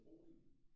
Til roning